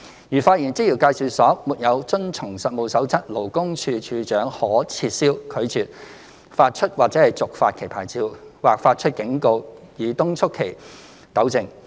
如發現職業介紹所沒有遵從《實務守則》，處長可撤銷、拒絕發出或續發其牌照，或發出警告以敦促其糾正。